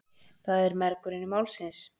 Það er mergurinn málsins.